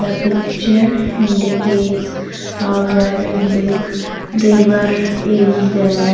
The picture indicates a very big river is there.